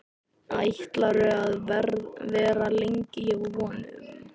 Ætlarðu að vera lengi hjá honum?